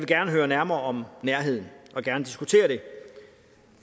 gerne høre nærmere om nærheden og gerne diskutere det